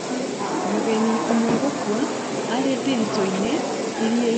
Mũgeni ũmwe gũkua arĩthiritũ-inĩ iria-inĩ Tanzania hĩndĩ ĩrĩa marĩ rũtha